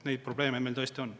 Neid probleeme meil tõesti on.